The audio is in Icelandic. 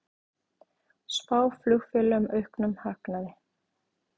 Spá flugfélögum auknum hagnaði